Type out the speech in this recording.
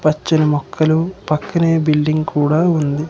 పచ్చని మొక్కలు పక్కనే బిల్డింగ్ కూడా ఉంది.